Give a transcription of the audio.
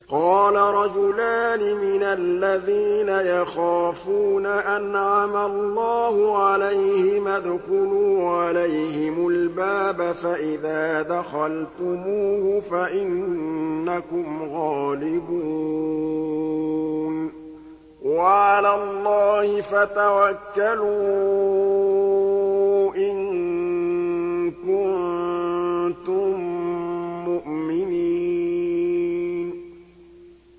قَالَ رَجُلَانِ مِنَ الَّذِينَ يَخَافُونَ أَنْعَمَ اللَّهُ عَلَيْهِمَا ادْخُلُوا عَلَيْهِمُ الْبَابَ فَإِذَا دَخَلْتُمُوهُ فَإِنَّكُمْ غَالِبُونَ ۚ وَعَلَى اللَّهِ فَتَوَكَّلُوا إِن كُنتُم مُّؤْمِنِينَ